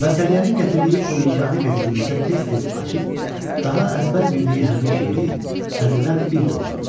Və Səriyənin gətirdiyi o yeganə qəzeti Nisə tez-tez açıb, daha əzbər bildiyi həmin şeiri təzədən bir də oxuyurdu.